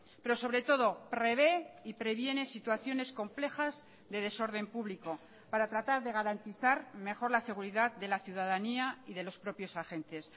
pero sobre todo prevé y previene situaciones complejas de desorden público para tratar de garantizar mejor la seguridad de la ciudadanía y de los propios agentes